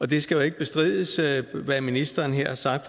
det skal jo ikke bestrides hvad ministeren har sagt